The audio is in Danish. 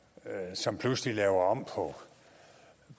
som pludselig laver om